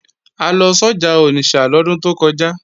A lọ sọ́jà Onitsha lọ́dún tó kọjá